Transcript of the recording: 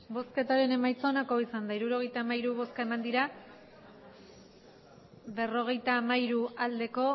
hirurogeita hamairu eman dugu bozka berrogeita hamairu bai